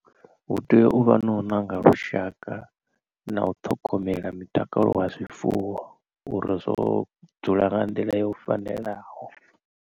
Hu tea uvha no u ṋanga lushaka na u ṱhogomela mutakalo wa zwifuwo uri zwo dzula nga nḓila yo fanelaho.